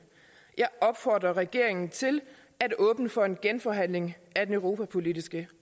jeg opfordrer regeringen til at åbne for en genforhandling af den europapolitiske